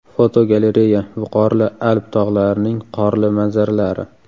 Fotogalereya: Viqorli Alp tog‘larining qorli manzaralari.